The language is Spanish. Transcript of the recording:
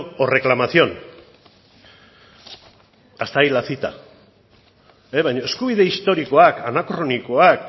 o reclamación hasta ahí la cita eskubide historikoak anakronikoak